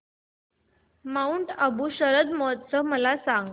Mount Abu शरद महोत्सव मला सांग